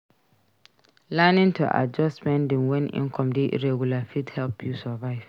Learning to adjust spending wen income dey irregular fit help you survive.